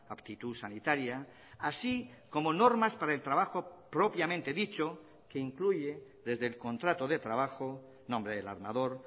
aptitud sanitaria así como normas para el trabajo propiamente dicho que incluye desde el contrato de trabajo nombre del armador